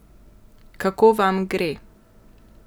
Kako vam gre?